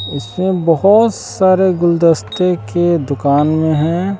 इससे बहोत सारे गुलदस्ते की के दुकान में हैं।